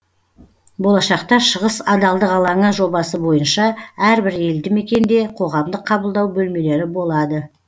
болашақта шығыс адалдық алаңы жобасы бойынша әрбір елді мекенде қоғамдық қабылдау бөлмелері болады